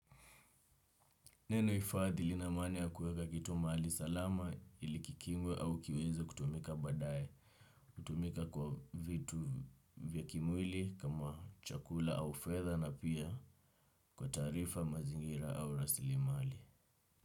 Neno hifadhi linamania kuweka kitu mahali salama ili kikingwe au kiweze kutumika badaye, hutumika kwa vitu vya kimwili kama chakula au fedha na pia kwa taarifa mazingira au rasilimali.